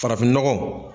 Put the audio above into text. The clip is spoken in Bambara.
Farafin nɔgɔ